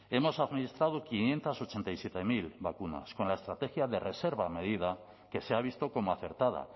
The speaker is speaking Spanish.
hemos administrado quinientos ochenta y siete mil vacunas con la estrategia de reserva a medida que se ha visto como acertada